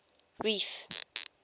reef